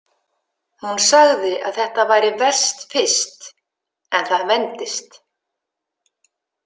Hún sagði að þetta væri verst fyrst en það vendist.